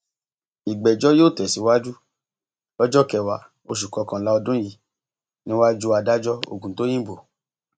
ìgbẹjọ yóò tẹ síwájú lọjọ kẹwàá oṣù kọkànlá ọdún yìí níwájú adájọ ògùntóyìnbó